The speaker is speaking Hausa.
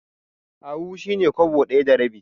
Ahu shi ne kwabo ɗaya da rabi.